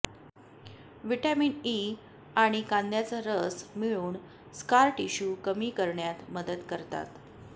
vitamin E आणि कांद्याचा रस मिळून स्कार टिश्यू कमी करण्यात मदत करतात